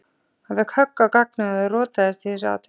Hann fékk högg á gagnaugað og rotast í þessu atviki.